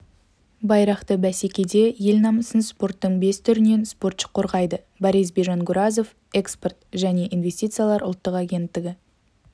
байрақты бәсекеде ел намысын спорттың бес түрінен спортшы қорғайды борисбий жангуразов экспорт және инвестициялар ұлттық агенттігі